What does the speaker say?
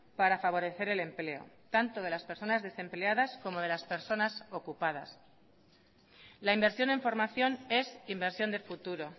para favorecer el empleo tanto de las personas desempleadas como de las personas ocupadas la inversión en formación es inversión de futuro